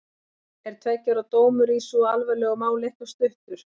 Er tveggja ára dómur í svo alvarlegu máli ekki of stuttur?